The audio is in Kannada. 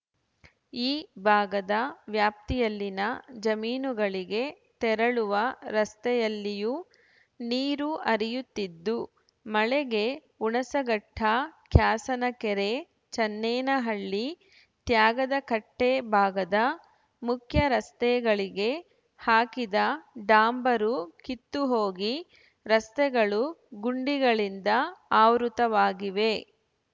ಈ ಭಾಗದ ವ್ಯಾಪ್ತಿಯಲ್ಲಿನ ಜಮೀನುಗಳಿಗೆ ತೆರಳುವ ರಸ್ತೆಯಲ್ಲಿಯೂ ನೀರು ಹರಿಯುತ್ತಿದ್ದು ಮಳೆಗೆ ಹುಣಸಘಟ್ಟ ಕ್ಯಾಸಿನಕೆರೆ ಚನ್ನೇನಹಳ್ಳಿ ತ್ಯಾಗದಕಟ್ಟೆಭಾಗದ ಮುಖ್ಯರಸ್ತೆಗಳಿಗೆ ಹಾಕಿದ ಡಾಂಬರು ಕಿತ್ತುಹೋಗಿ ರಸ್ತೆಗಳು ಗುಂಡಿಗಳಿಂದ ಆವೃತವಾಗಿವೆ